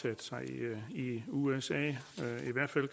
i i usa når